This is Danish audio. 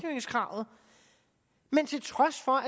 trods for